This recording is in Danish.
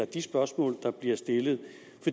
de spørgsmål der bliver stillet